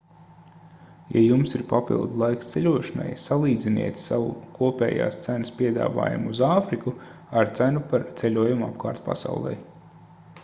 ja jums ir papildu laiks ceļošanai salīdziniet savu kopējās cenas piedāvājumu uz āfriku ar cenu par ceļojumu apkārt pasaulei